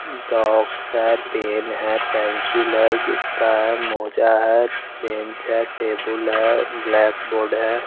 Dogs है pen है pencil है जुटता है मोज़्ज़ा है बेंच है टेबुल है ब्लैक बोर्ड है।